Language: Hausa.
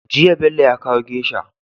Jiya Bello ya kawo geisha